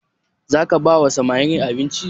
Za ka ba wa samarin abinci?